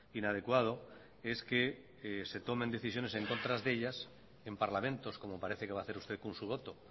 inadecuado es que se tomen decisiones en contra de ellas en parlamentos como parece que va a hacer usted con su voto